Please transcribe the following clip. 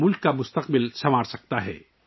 ملک کی تقدیر بدل سکتے ہیں